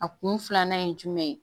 A kun filanan ye jumɛn ye